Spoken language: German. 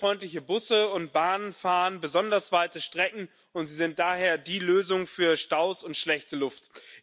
Umweltfreundliche Busse und Bahnen fahren besonders weite Strecken, und sie sind daher die Lösung für Staus und schlechte Luft.